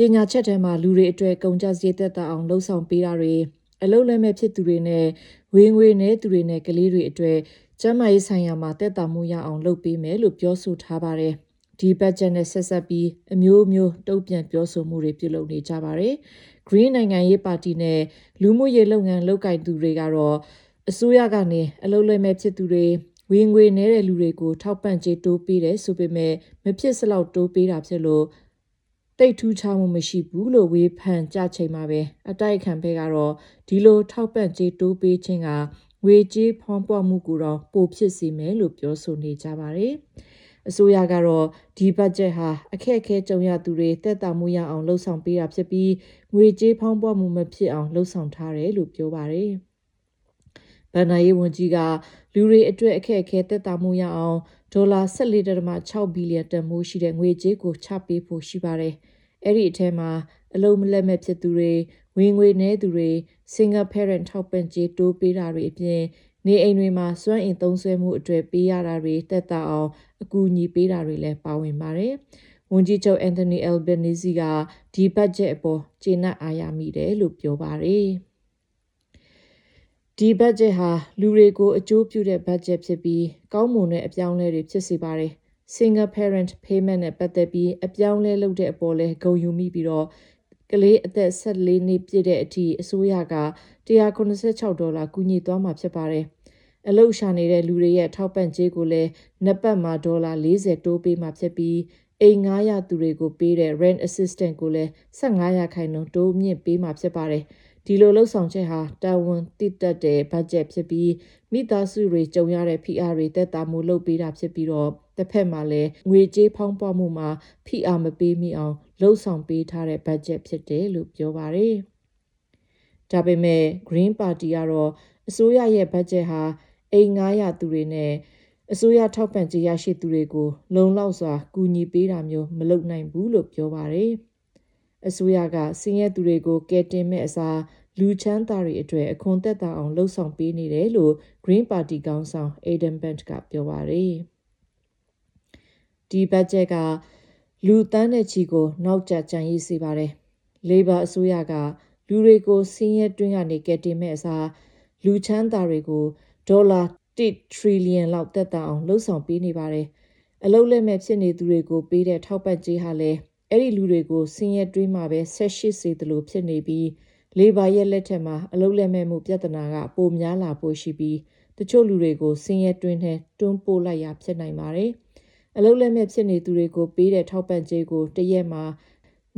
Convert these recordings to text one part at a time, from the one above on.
ကြေညာချက်ထဲမှာ လူတွေအတွက် ကုန်ကျစရိတ်သက်သာအောင် လုပ်ဆောင်ပေးတာတွေ၊ အလုပ်လက်မဲ့ ဖြစ်သူတွေနဲ့ ဝင်ငွေနည်းသူတွေနဲ့ ကလေးတွေအတွက် ကျန်းမာရေးဆိုင်ရာမှာ သက်သာမှုရအောင် လုပ်ပေးမယ်လို့ ပြောဆိုထားပါတယ်။ ဒီဘတ်ဂျက်နဲ့ ဆက်စပ်ပြီး အမျိုးမျိုး တုန့်ပြန်ပြောဆိုမှုတွေ ပြုလုပ်နေကြပါတယ်။ ဂရင်းနိုင်ငံရေးပါတီနဲ့ လူမှုရေးလုပ်ငန်း လုပ်ကိုင်သူတွေကတော့ အစိုးရကနေ အလုပ်လက်မဲ့ဖြစ်သူတွေ၊ ဝင်ငွေနည်းသူတွေကို ထောက်ပံ့ကြေးတိုးပေးတယ်ဆိုပေမယ့် မဖြစ်စလောက် တိုးပေးတာဖြစ်လို့ သိပ်ထူးခြားမှု မရှိဘူးလို့ ဝေဖန်ကြချိန်မှာပဲ အတိုက်အခံဖက်ကတော့ ဒီလို ထောက်ပံ့ကြေးတိုးပေးခြင်းက ငွေကြေးဖောင်းပွမှုကို ပိုဖြစ်စေမယ်လို့ ပြောဆိုနေကြပါတယ်။ အစိုးရကတော့ ဒီဘတ်ဂျက်ဟာ အခက်အခဲကြုံရသူတွေ သက်သာမှုရအောင် လုပ်ဆောင်ပေးတာဖြစ်ပြီး ငွေကြေးဖောင်းပွမှု မဖြစ်အောင် လုပ်ဆောင်ထားတယ်လို့ ပြောပါတယ်။ ဘဏ္ဏာရေးဝန်ကြီးက လူတွေအတွက် အခက်အခဲ သက်သာမှုရအောင် ဒေါ်လာ ၁၄.၆ ဘီလီယံတန်ဖိုးရှိတဲ့ ငွေကြေးကို ချပေးဖို့ရှိပါတယ်။ အဲဒီအထဲမှာ အလုပ်လက်မဲ့ဖြစ်သူတွေ၊ ဝင်ငွေနည်းသူတွေ၊ single parent ထောက်ပံ့ကြေးတိုးပေးတာတွေအပြင် နေအိမ်တွေမှာ စွမ်းအင်သုံးစွဲမှုအတွက် ပေးရတာတွေ သက်သာအောင် ကူညီပေးတာတွေ ပါဝင်ပါတယ်။ ဝန်ကြီးချုပ် အန်ထော်နီ အယ်လ်ဘာနီဇီက ဒီဘတ်ဂျက်ကို ကျေနပ်အားရမိတယ်လို့ ပြောပါတယ်။ ဒီဘတ်ဂျက်ဟာ လူတွေကို အကျိုးပြုတဲ့ဘတ်ဂျက်ဖြစ်ပြီး ကောင်းမွန်တဲ့အပြောင်းအလဲတွေ ဖြစ်စေပါတယ်။ Single parent payment နဲ့ ပတ်သက်ပြီး အပြောင်းအလဲလုပ်တဲ့အပေါ်လည်း ဂုဏ်ယူမိပြီး ကလေး အသက် ၁၄ နှစ်ပြည့်တဲ့အထိ အစိုးရက ၁၇၆ ဒေါ်လာ ကူညီသွားမှာ ဖြစ်ပါတယ်။ အလုပ်ရှာနေတဲ့လူတွေရဲ့ ထောက်ပံ့ကြေးကိုလည်း နှစ်ပတ်မှာ ဒေါ်လာ ၄၀ တိုးပေးမှာဖြစ်ပြီး အိမ်ငှားရသူတွေကိုပေးတဲ့ rent assistance ကိုလည်း ၁၅% တိုးမြင့်ပေးမှာဖြစ်ပါတယ်။ ဒီလိုလုပ်ဆောင်ချက်ဟာ တာဝန်သိတတ်တဲ့ ဘတ်ဂျက်ဖြစ်ပြီး မိသားစုတွေ ကြုံရတဲ့ ဖိအားတွေ သက်သာမှုလုပ်ပေးတာဖြစ်ပြီး တဖက်မှာလည်း ငွေကြေးဖောင်းပွမှုမှာ ဖိအားမပေးမိအောင် လုပ်ဆောင်ပေးထားတဲ့ ဘတ်ဂျက် ဖြစ်တယ်လို့ ပြောပါတယ်။ ဒါပေမဲ့ ဂရင်ပါတီကတော့ အစိုးရရဲ့ ဘတ်ဂျက်ဟာ အိမ်ငှားရသူတွေနဲ့ အစိုးရထောက်ပံ့ကြေးရရှိသူတွေကို လုံလောက်စွာ ကူညီတာမျိုး မဟုတ်ဘူးလို့ ပြောပါတယ်။ အစိုးရက ဆင်းရဲသူတွေကို ကယ်တင်မဲ့အစား လူချမ်းသာတွေအတွက် အခွန်သက်သာအောင် လုပ်ဆောင်ပေးနေတယ်လို့ ဂရင်းပါတီခေါင်းဆောင် Adam Bandt က ပြောပါတယ်။ ဒီဘတ်ဂျက်က လူသန်းနဲ့ချီကို နောက်ကျကျန်ရစ်စေပါတယ်။ လေဘာအစိုးရက လူတွေကို ဆင်းရဲတွင်းကနေ ကယ်တင်မဲ့အစား လူချမ်းသာတွေ ဒေါ်လာ ၁ ထရီလီယံ သက်သာအောင် လုပ်ဆောင်ပေးနေပါတယ်။ အလုပ်လက်မဲ့ ဖြစ်နေသူတွေကိုပေးတဲ့ ထောက်ပံ့ကြေးဟာလည်း အဲဒီလူတွေကို ဆင်းရဲတွင်းမှာပဲ ဆက်ရှိစေသလိုဖြစ်နေပြီး လေဘာရဲ့ လက်ထက်မှာ အလုပ်လက်မဲ့မှု ပြဿနာ ပိုများလာဖို့ရှိပြီး တချို့လူတွေကို ဆင်းရဲတွင်းထဲ တွန်းပို့ရာဖြစ်နိုင်ပါတယ်။ အလုပ်လက်မဲ့ဖြစ်နေသူတွေကို ပေးတဲ့ ထောက်ပံ့ကြေးကို တစ်ရက်မှာ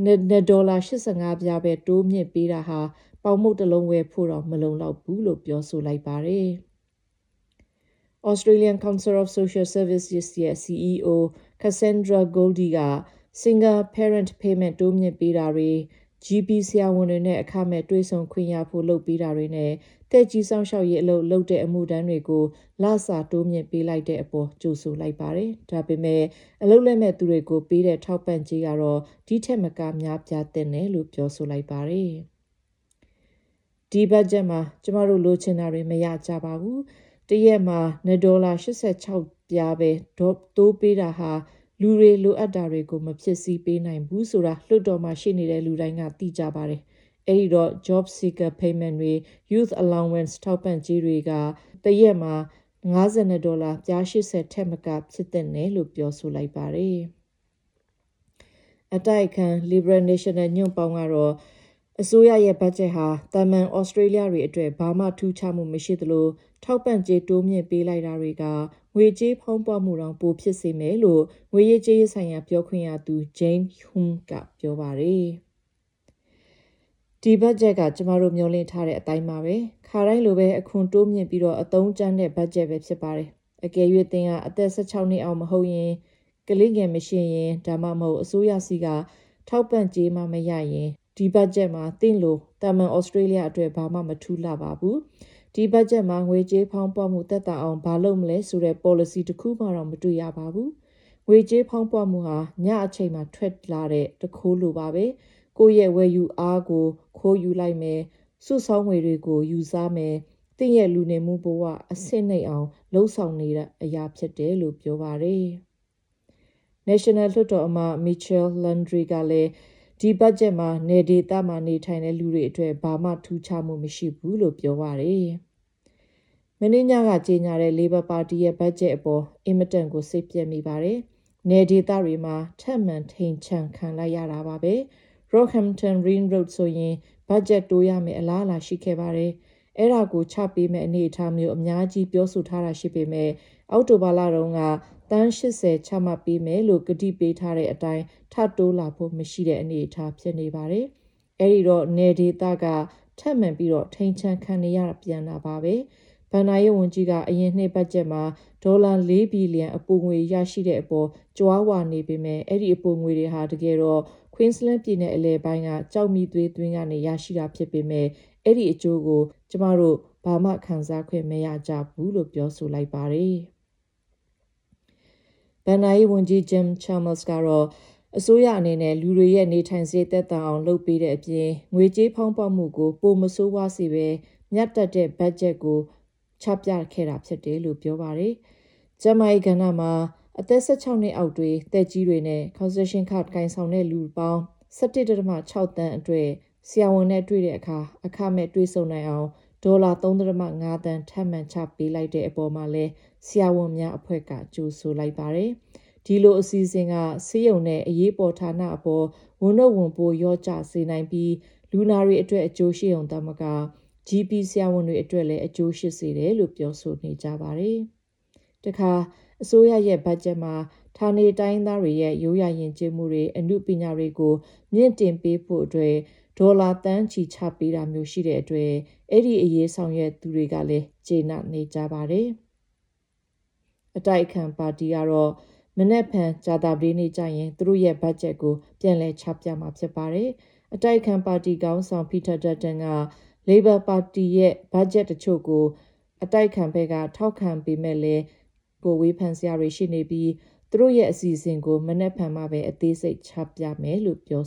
နောက်ထပ် ၂.၈၅ ဒေါ်လာပဲ တိုးမြင့်ပေးတာဟာ ပေါင်မှုန့်တစ်လုံး ဝယ်ဖို့တောင် မလုံလောက်ဘူးလို့ ပြောပါတယ်။ Australian Council of Social Services ရဲ့ စီအီးအို Cassandra Goldie က single-parent payment တိုးမြင့်ပေးတာတွေ၊ ဂျီပီဆရာဝန်တွေနဲ့ အခမဲ့တွေ့ဆုံခွင့်ရဖို့ လုပ်ပေးတာတွေနဲ့ သက်ကြီးစောင့်ရှောက်ရေးအလုပ် လုပ်တဲ့အမှုထမ်းတွေကို လစာတိုးမြင့်ပေးလိုက်တဲ့အပေါ် ကြိုဆိုလိုက်ပါတယ်။ ဒါပေမဲ့ အလုပ်လက်မဲ့သူတွေကို ပေးတဲ့ ထောက်ပံ့ကြေးကတော့ ဒီထက်မက များသင့်တယ်လို့ ပြောပါတယ်။ ဒီဘတ်ဂျက်မှာ ကျမတို့လိုချင်တာတွေ မရကြပါဘူး၊ တစ်ရက်မှာ ၂.၈၆ ဒေါ်လာပဲ ထပ်တိုးပေးတာဟာ လူတွေ လိုအပ်တာတွေကို မဖြည့်ဆည်းပေးနိုင်ဘူးဆိုတာ လွှတ်တော်မှာ ရှိနေတဲ့လူတိုင်းက သိကြပါတယ်။ အဲဒီတော့ Jobseeker, Youth Allowance ထောက်ပံ့ကြေးတွေက တစ်ရက်မှာ ၅၂.၈၀ ဒေါ်လာ ထက်မက ဖြစ်သင့်တယ်လို့ ပြောပါတယ်။ အတိုက်အခံ လစ်ဘရယ်-နေရှင်နယ်ညွန့်ပေါင်းကတော့ အစိုးရရဲ့ ဘတ်ဂျက်ဟာ သာမာန်ဩစတြေးလျတွေအတွက် ဘာမှ ထူးခြားမှုမရှိသလို ထောက်ပံ့ကြေးတိုးမြင့်ပေးလိုက်တာတွေက ငွေကြေးဖောင်းပွမှုတောင် ပိုဖြစ်စေမယ်လို့ ငွေရေးကြေးရေးဆိုင်ရာ ပြောခွင့်ရသူ Jane Hume က ပြောပါတယ်။ ဒီဘတ်ဂျက်က ကျမတို့ မျော်လင့်ထားတဲ့အတိုင်းပါပဲ၊ ခါတိုင်းလိုပဲ အခွန်တိုးမြင့်ပြီး အသုံးကြမ်းတဲ့ ဘတ်ဂျက်ဖြစ်ပါတယ်။ အကယ်၍ သင်က အသက် ၁၆ နှစ်အောက် မဟုတ်ရင်၊ ကလေးငယ်မရှိရင် ဒါမှမဟုတ် အစိုးရဆီက ထောက်ပံ့ကြေးမရရင် ဒီဘတ်ဂျက်မှာ သင့်ကို သာမာန်ဩစတြေးလျအတွက် ဘာမှ မထူးလှပါဘူး။ ဒီဘတ်ဂျက်မှာ ငွေကြေးဖောင်းပွမှု သက်သာအောင် ဘာလုပ်မလဲဆိုတဲ့ ပေါ်လစီ တစ်ခုမှတောင် မတွေ့ရပါဘူး။ ငွေကြေးဖောင်းပွမှုဟာ ညအချိန်ထွက်တဲ့ သူခိုးလိုပါပဲ၊ ကိုယ့်ရဲ့ ဝယ်ယူအားကို ခိုးယူလိုက်မယ်၊ စုဆောင်းငွေတွေ ယူစားမယ်၊ သင့်ရဲ့ လူနေမှုဘဝ အဆင့်နိမ့်အောင် လုပ်ဆောင်နေတာလို့ ပြောပါတယ်။ နေရှင်နယ် လွှတ်တော်အမတ် Michelle Landry ကလည်း ဒီဘတ်ဂျက်မှာ နယ်ဒေသမှာ နေထိုင်သူတွေအတွက် ဘာမှ ထူးခြားမှုမရှိဘူးလို့ ပြောပါတယ်။ မနေ့ညက ကြေညာတဲ့ လေဘာပါတီရဲ့ ဘတ်ဂျက်အပေါ် အင်မတန် စိတ်ပျက်မိပါတယ်။ နယ်ဒေသတွေ ထပ်မံထိန်ချန်ခံလိုက်ရတာပါပဲ။ Rockhampton Ring Road ဆိုရင် ဘတ်ဂျက်တိုးရမယ့်အလားအလာရှိခဲ့ပါတယ်၊ အဲဒါကို ချပေးမဲ့အနေအထားမျိုး အများကြီးပြောဆိုထားတာရှိပေမဲ့ အောက်တိုဘာလတုန်းက သန်း ၈၀ ချမှတ်ပေးမယ်လို့ ကတိပေးထားတဲ့အတိုင်း ထပ်တိုးလာဖို့မရှိတဲ့အနေအထား ဖြစ်နေပါတယ်။ အဲဒီတော့ နယ်ဒေသက ထပ်မံထိန်ချန်ခံနေရပြန်တာပါပဲ။ ဘဏ္ဏာရေးဝန်ကြီးက အရင်နှစ်ဘတ်ဂျက်မှာ ဒေါ်လာ ၄ ဘီလီယံအပိုငွေရှိတဲ့အပေါ် ကြွားဝါနေပေမယ့် အဲဒီ အပိုငွေဟာ ကွင်းစလန်းပြည်နယ် အလယ်ပိုင်း ကျောက်မီးသွေးတွင်းက ရရှိတာဖြစ်ပေမယ့် အဲဒီအကျိုးကို ကျမတို့ ဘာမှ ခံစားခွင့်မရကြဘူးလို့ ပြောပါတယ်။ ဘဏ္ဏာရေးဝန်ကြီး Jim Chalmers ကတော့ အစိုးရအနေနဲ့ လူတွေရဲ့ နေထိုင်စရိတ် သက်သာအောင်လုပ်ပေးတဲ့အပြင် ငွေကြေးဖောင်းပွမှုကို ပိုမဆိုးဝါးစေပဲ မျှတတဲ့ ဘတ်ဂျက် ဖြစ်တယ်လို့ ပြောပါတယ်။ ကျန်းမာရေးကဏ္ဏမှာ အသက် ၁၆ နှစ်အောက်တွေ၊ သက်ကြီးတွေနဲ့ concession card ကိုင်ဆောင်သူလူပေါင်း ၁၁.၆ သန်းအတွက် ဆရာဝန်နဲ့ တွေ့တဲ့အခါ အခမဲ့တွေ့ဆုံနိုင်အောင် ဒေါ်လာ ၃.၅ သန်း ထပ်မံချပေးလိုက်တဲ့အပေါ် ဆရာဝန်များအဖွဲ့က ကြိုဆိုလိုက်ပါတယ်။ ဒီလို အစီအစဥ်က ဆေးရုံနဲ့ အရေးပေါ် ဌာနအပေါ် ဝန်ထုတ်ဝန်ပိုး လျော့ကျစေနိုင်ပြီး လူနာတွေအတွက် အကျိုးရှိရုံသာမက ဂျီပီဆရာဝန်တွေအတွက်လည်း အကျိုးရှိစေတယ်လို့ ပြောဆိုနေကြပါတယ်။ အစိုးရရဲ့ ဘတ်ဂျက်မှာ ဌာနေတိုင်းရင်းသားတွေရဲ့ ရိုးရာ ယဥ်ကျေးမှု၊ အနုပညာတွေကို မြင့်တင်ဖို့အတွက် ဒေါ်လာ သန်းချီချမှတ်ပေးတာမျိုး ရှိတဲ့အတွက် အဲဒီအရေးဆောင်ရွက်သူတွေကလည်း ကျေနပ်နေကြပါတယ်။ အတိုက်အခံပါတီက မနက်ဖြန် ကြရင် သူတို့ရဲ့ ဘတ်ဂျက်ကို ချပြမှာ ဖြစ်ပါတယ်။ အတိုက်အခံပါတီ ခေါင်းဆောင်က လေဘာပါတီရဲ့ ဘတ်ဂျက်တချို့ကို ထောက်ခံပေမယ့် ဝေဖန်စရာတွေလည်းရှိနေပြီး သူတို့ရဲ့ အစီအစဥ်ကို မနက်ဖြန်မှ အသေးစိတ် ချပြမယ်လို့ ပြော